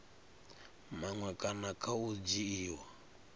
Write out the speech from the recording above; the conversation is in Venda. maṅwe kana kha u dzhiiwa